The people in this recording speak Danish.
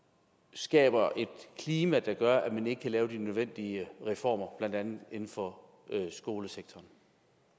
skaber et klima der gør at man ikke kan lave de nødvendige reformer blandt andet inden for skolesektoren